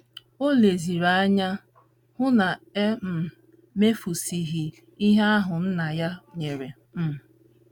O leziri anya hụ na e um mefusịghị ihe ahụ Nna ya nyere um.